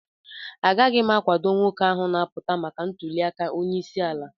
Agaghị m akwado nwoke ahụ na-apụta maka ntuliaka onyeisi ala